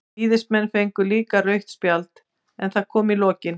Víðismenn fengu líka rautt spjald, en það kom í lokin.